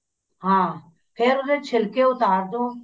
ਹਾਂ ਫ਼ੇਰ ਉਹਦੇ ਛਿਲਕੇ ਉਤਾਰ ਦੋ